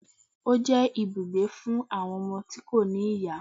Ó jẹ́ ibùgbé fún àwọn ọmọ tí kò ní ìyá